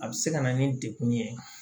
A bɛ se ka na ni degun ye